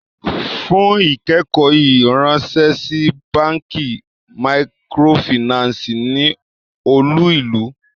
Fún ikẹkọ̀ yíì ránsẹ̀ sí bankí màkrófínànsí ní olú-ìlú!